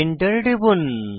Enter টিপুন